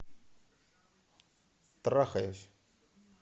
трахаюсь